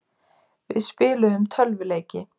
Við spiluðum tölvuleiki.